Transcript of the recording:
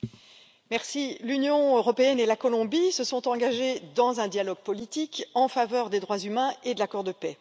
Monsieur le Président, l'Union européenne et la Colombie se sont engagées dans un dialogue politique en faveur des droits humains et de l'accord de paix.